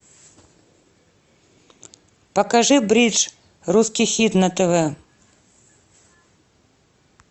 покажи бридж русский хит на тв